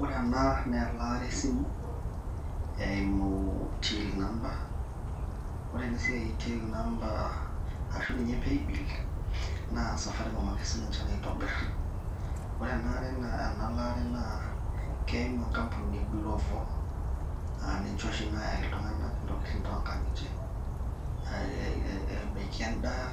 ore ena naa elaata esimu eimu till number, ore ensiai e till number ashu pay bill naa Safaricom ake siininche naitobir ore enaa laare naa keimu enkampuni e glovo, aaniche oshi naayaki iltung'anak intokitin too ngang'itie ebaki edaa